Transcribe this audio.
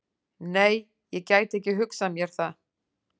Nei, ég gæti ekki hugsað mér það.